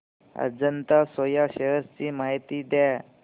Ajanta Soya shares ची माहिती द्या